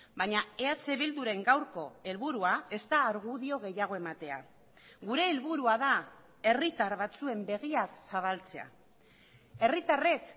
baina eh bilduren gaurko helburua ez da argudio gehiago ematea gure helburua da herritar batzuen begiak zabaltzea herritarrek